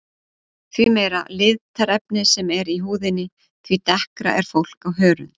Því meira litarefni sem er í húðinni því dekkra er fólk á hörund.